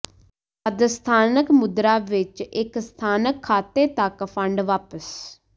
ਜਦ ਸਥਾਨਕ ਮੁਦਰਾ ਵਿਚ ਇਕ ਸਥਾਨਕ ਖਾਤੇ ਤੱਕ ਫੰਡ ਵਾਪਿਸ